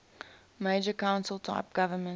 mayor council type government